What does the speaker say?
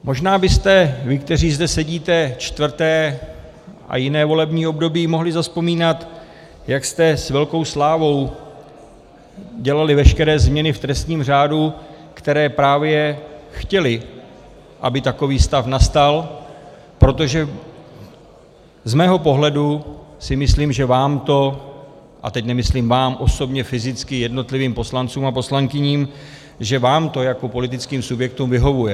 Možná byste vy, kteří zde sedíte čtvrté a jiné volební období, mohli zavzpomínat, jak jste s velkou slávou dělali veškeré změny v trestním řádu, které právě chtěly, aby takový stav nastal, protože z mého pohledu si myslím, že vám to - a teď nemyslím vám osobně, fyzicky, jednotlivým poslancům a poslankyním, že vám to jako politickým subjektům vyhovuje.